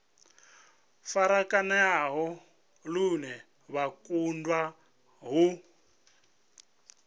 farakanea lune vha kundwa u